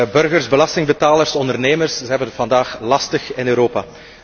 Burgers, belastingbetalers, ondernemers, ze hebben het vandaag lastig in Europa.